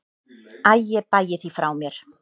Æ ég bægi því frá mér.